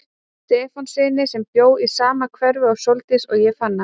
Stefánssyni sem bjó í sama hverfi og Sóldís og ég fann hann.